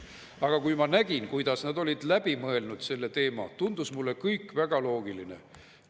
Aga kui ma nägin, kuidas nad olid läbi mõelnud selle teema, tundus mulle kõik väga loogiline.